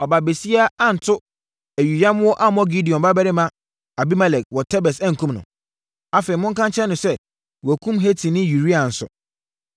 Ɔbaabasia anto ayuyammoɔ ammɔ Gideon babarima Abimelek wɔ Tebes ankum no?’ Afei, monka nkyerɛ no sɛ, wɔakum Hetini Uria nso.”